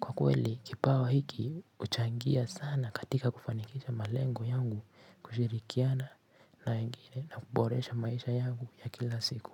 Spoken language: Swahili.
kwa kweli kipawa hiki huchangia sana katika kufanikisha malengo yangu kushirikiana na wengine na kuboresha maisha yangu ya kila siku.